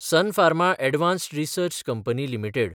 sun Pharma advanced research company limited